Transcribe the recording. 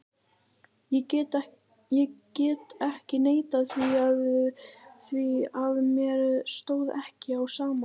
Ég get ekki neitað því að mér stóð ekki á sama.